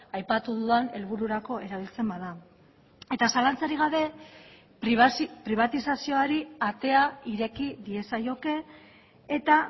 aipatu dudan helbururako erabiltzen bada eta zalantzarik gabe pribatizazioari atea ireki diezaioke eta